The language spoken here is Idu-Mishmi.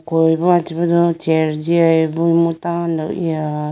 koyi ba chibudo chair jiyayi bo imu tando eya.